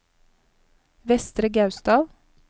Vestre Gausdal